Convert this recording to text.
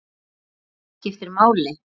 Eitthvað sem skiptir máli?